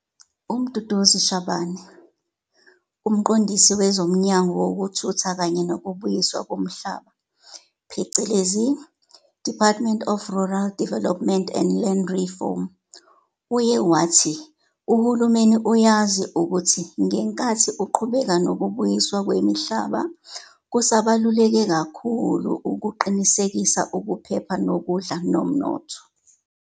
UMduduzi Shabane, UMqondisi wezoMnyango wokuThuthuka kanye nokuBuyiswa koMhlaba, DRDLR, uye wathi uhulumeni uyazi ukuthi ngenkathi uqhubeka nokubuyiswa kwemihlaba kusabaluleke kakhulu ukuqinisekisa ukuphepha kokudla nomnotho.